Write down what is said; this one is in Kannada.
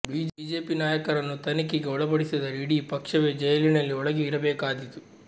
ಬಿಜೆಪಿ ನಾಯಕರನ್ನು ತನಿಖೆಗೆ ಒಳಪಡಿಸಿದರೆ ಇಡಿ ಪಕ್ಷವೇ ಜೈಲಿನಲ್ಲಿ ಒಳಗೆ ಇರಬೇಕಾದೀತು